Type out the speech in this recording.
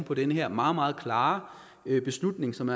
på den her meget meget klare beslutning som